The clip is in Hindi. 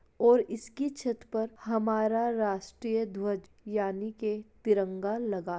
और इसकी छत पर हमारा राष्ट्रीय ध्वज यानी तिरंगा लगा है।